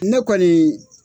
Ne kɔniii.